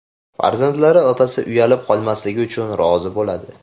Farzandlari otasi uyalib qolmasligi uchun rozi bo‘ladi .